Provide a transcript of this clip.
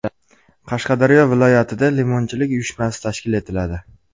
Qashqadaryo viloyatida limonchilik uyushmasi tashkil etiladi.